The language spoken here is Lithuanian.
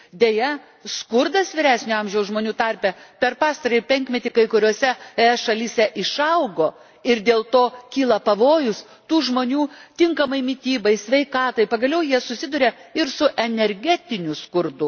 Deja, skurdas vyresnio amžiaus žmonių tarpe per pastarąjį penkmetį kai kuriose ES šalyse išaugo, ir dėl to kyla pavojus tų žmonių tinkamai mitybai, sveikatai, pagaliau jie susiduria ir su energetiniu skurdu.